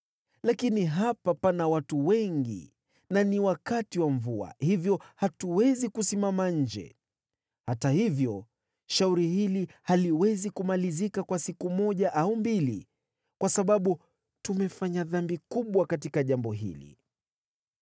Lakini hapa pana watu wengi na ni wakati wa mvua, hivyo hatuwezi kusimama nje. Hata hivyo, shauri hili haliwezi kumalizika kwa siku moja au mbili, kwa sababu tumefanya dhambi kubwa katika jambo hili.